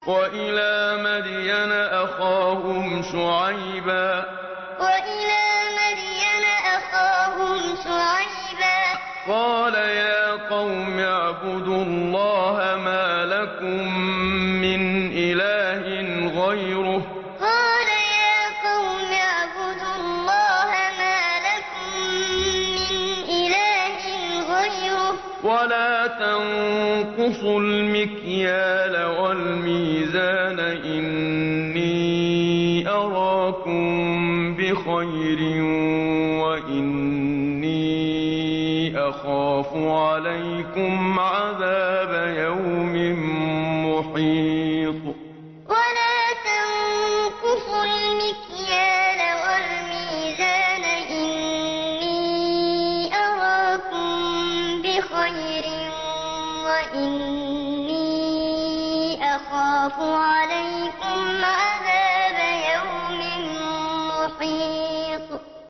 ۞ وَإِلَىٰ مَدْيَنَ أَخَاهُمْ شُعَيْبًا ۚ قَالَ يَا قَوْمِ اعْبُدُوا اللَّهَ مَا لَكُم مِّنْ إِلَٰهٍ غَيْرُهُ ۖ وَلَا تَنقُصُوا الْمِكْيَالَ وَالْمِيزَانَ ۚ إِنِّي أَرَاكُم بِخَيْرٍ وَإِنِّي أَخَافُ عَلَيْكُمْ عَذَابَ يَوْمٍ مُّحِيطٍ ۞ وَإِلَىٰ مَدْيَنَ أَخَاهُمْ شُعَيْبًا ۚ قَالَ يَا قَوْمِ اعْبُدُوا اللَّهَ مَا لَكُم مِّنْ إِلَٰهٍ غَيْرُهُ ۖ وَلَا تَنقُصُوا الْمِكْيَالَ وَالْمِيزَانَ ۚ إِنِّي أَرَاكُم بِخَيْرٍ وَإِنِّي أَخَافُ عَلَيْكُمْ عَذَابَ يَوْمٍ مُّحِيطٍ